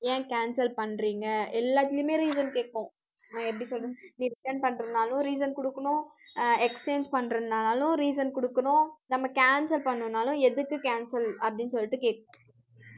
ஏன் cancel பண்றீங்க எல்லாத்துலையுமே reason கேக்கும். நான் எப்படி சொல்றது நீ return பண்றதுனாலும் reason குடுக்கணும் அஹ் exchange பண்றதுனாலும், reason குடுக்கணும். நம்ம cancel பண்ணணும்னாலும், எதுக்கு cancel அப்படின்னு சொல்லிட்டு கேக்கும்.